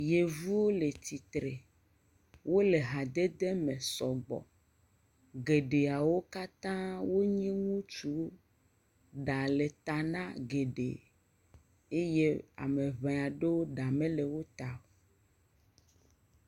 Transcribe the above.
Yevu le tsitre. Wole hadede me sɔgbɔ. Geɖeawo katã wonye ŋutsuwo. Ɖa le ta na geɖe eye ame ŋe aɖewo ɖa mele wo ta o.